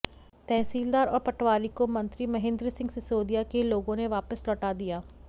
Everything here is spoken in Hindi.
तहसीलदार और पटवारी को मंत्री महेंद्र सिंह सिसोदिया के लोगों ने वापस लौटा दिया